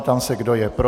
Ptám se, kdo je pro.